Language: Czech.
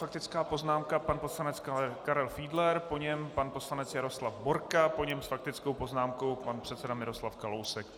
Faktická poznámka pan poslanec Karel Fiedler, po něm pan poslanec Jaroslav Borka, po něm s faktickou poznámkou pan předseda Miroslav Kalousek.